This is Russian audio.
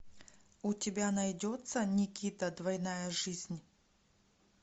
у тебя найдется никита двойная жизнь